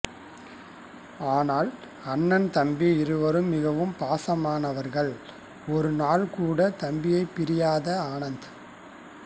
ஆனால் அண்ணன் தம்பி இருவரும் மிகவும் பாசமானவர்கள் ஒரு நாள் கூட தம்பியை பிரியாத ஆனந்த்